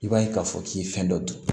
I b'a ye k'a fɔ k'i ye fɛn dɔ dun